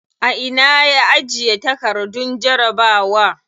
A ina ya ajiye takardun jarabawa?